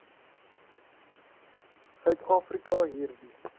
suid afrika hierdie